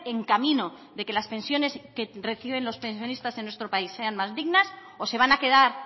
en camino de que las pensiones que reciben los pensionistas en nuestro país sean más dignas o se van a quedar